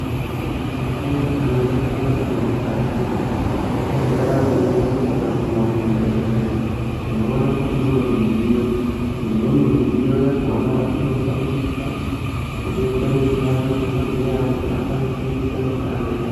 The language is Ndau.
Neumweni mukuwo tikaningira kuti mukati mwendaramo yedu tikaguma muzvibhedhlera tinoona kuti mune midziyo. Imweni midziyo inoshandiswa kudetseredza madhokodheya kuti akwanise kuita mishando yavo.